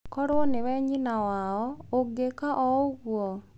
Korũo nĩwe nyina wao, ũngĩka o ũguo?